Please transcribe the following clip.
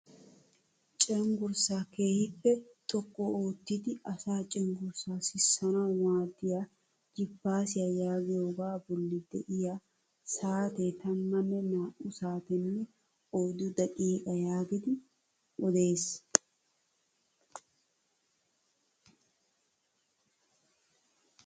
Cengurssaa keehippe xoqqu oottidi asa cengurssaa sissanawu maaddiyaa jiipasiyaa yaagiyoogaa bolli de'iyaa saatee tammanne naa"u saatenne oyddu daqiiqa yaagidi odees.